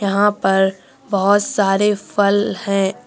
यहां पर बहोत सारे फल है।